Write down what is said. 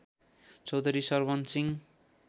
Chaudhary Sarwan Singh